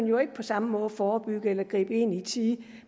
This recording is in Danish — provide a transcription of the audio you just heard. jo ikke på samme måde forebygge eller gribe ind i tide